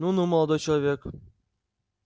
ну-ну молодой человек